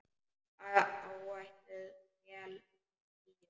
Áætluð vél uppí skýjum.